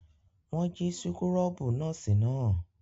Wọ́n jí súkúrọ́bù nọ́ọ́sì náà.